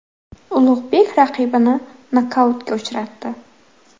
Ulug‘bek raqibini nokautga uchratdi.